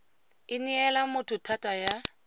e neela motho thata ya